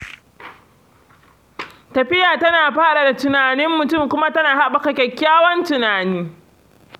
Tafiya tana faɗaɗa tunanin mutum kuma tana haɓaka kyakkyawan tunani